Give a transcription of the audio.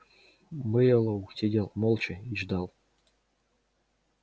мэллоу сидел молча и ждал